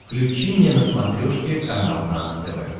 включи мне на смотрешке канал нано тв